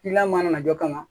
Kiliyan mana na jɔ ka na